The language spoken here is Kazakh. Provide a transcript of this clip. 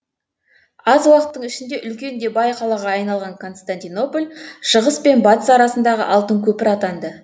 аз уақыттың ішінде үлкен де бай қалаға айналған константинополь шығыс пен батыс арасындағы алтын көпір атанды